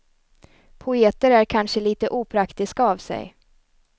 Poeter är kanske lite opraktiska av sig.